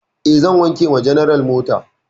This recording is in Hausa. E, zan wanke wa general mota.